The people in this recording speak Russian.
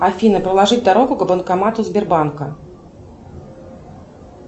афина проложи дорогу к банкомату сбербанка